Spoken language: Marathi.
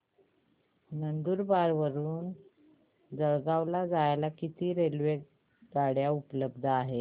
नंदुरबार वरून जळगाव ला जायला किती रेलेवगाडया उपलब्ध आहेत